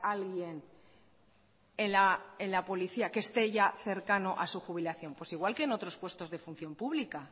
alguien en la policía que esté ya cercano a su jubilación pues igual que en otros puestos de función pública